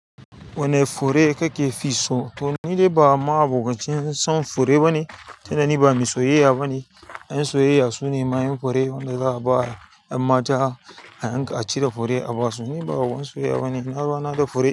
Wanne fure kake fi so? To ni dai ba ma abocin son fure ba ne, tunda ni ba mai soyayya ba ne. Ƴan soyayya su ne mayun fure wanda za a ba 'yan mata a yanka, a cire fure a ba su. Ni ba wani soyayya ba ne, na ruwana da fure.